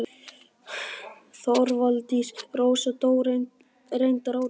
Þorvaldína Rósa dó reyndar árið